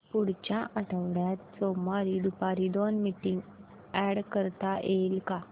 पुढच्या आठवड्यात सोमवारी दुपारी दोन मीटिंग्स अॅड करता येतील का